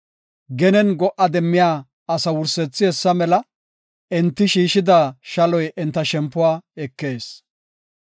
Genen go77a demmiya asa wursethi hessa mela; enti shiishida shaloy enta shempuwa ekees.